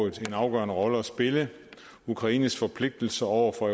en afgørende rolle at spille ukraines forpligtelser over for